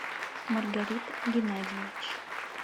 маргарит геннадьевич